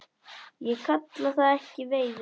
Ég kalla það ekki veiði.